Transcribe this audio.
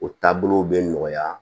O taabolow bɛ nɔgɔya